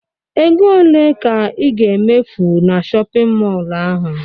Ego ole ka ị ga-emefu na shọpịn mọlụ ahụ?